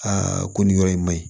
ko nin yɔrɔ in maɲi